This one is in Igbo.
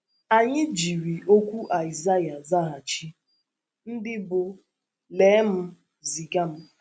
Anyị jiri okwu Aịzaịa zaghachi, ndị bụ́: “ Lee m; ziga m. ”